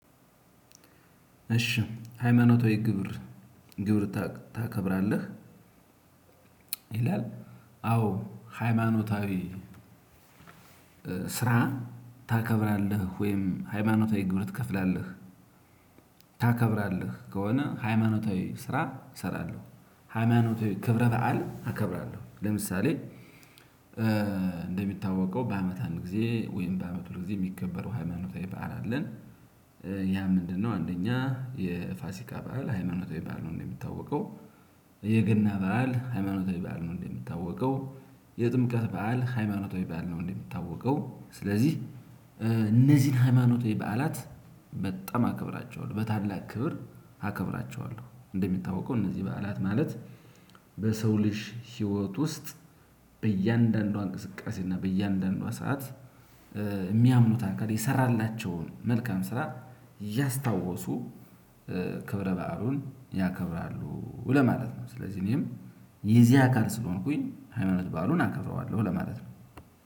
እሺ ሃይማኖታዊ ግብር ግብር ታከብራለህ? ይላል አዎ ሃይማኖታዊ ስራ ታከብራለህ ወይም ሃይማኖታዊ ግብር ትከፍላለህ። ታከብራለህ ከሆነ ሃይማኖታዊ ስራ እሰራለሁ። ሃይማኖታዊ ክብረ በዓል አከብራለሁ ለምሳሌ እንደሚታወቀው በአመት አንድ ጊዜ ወይም በአመት ሁለት ጊዜ የሚከበሩ ሃይማኖታዊ በዓል አለን። ያ ምንድነው? አንደኛ የፋሲካ በዓል ሃይማኖታዊ በዓል ነው። እንደሚታወቀው የገና በዓል ሃይማኖታዊ በዓል ነው። እንደሚታወቀው የጥምቀት በዓል ሃይማኖታዊ በዓል ነው። እንደሚታወቀው ስለዚህ እነዚህን ሃይማኖታዊ በዓላት በጣም አከብራቸዋለሁ በታላቅ ክብር አክብራቸዋለሁ። እንደሚታወቀው እነዚህ በዓላት ማለት በሰው ልጅ ህይወት ውስጥ በእያንዳንዷ እንቅስቃሴ እና በእያንዳንዷ ሰዓት እሚያምኑት አካል የሰራላቸውን መልካም ስራ እያስታወሱ ክብረ በዓሉን ያከብራሉ ለማለት ነው። ስለዚህ እኔም የዚህ አካል ስለሆንኩኝ ሃይማኖት በዓሉን አከብረዋለሁ ለማለት ነው።